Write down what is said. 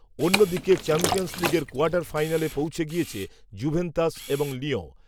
অন্য দিকে চ্যাম্পিয়ন্স লিগের কোয়ার্টার ফাইনালে পৌঁছে গিয়েছে জুভেন্তাস এবং লিয়ঁ